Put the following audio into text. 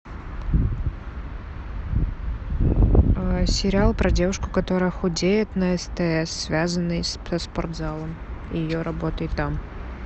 сериал про девушку которая худеет на стс связанный со спортзалом и ее работой там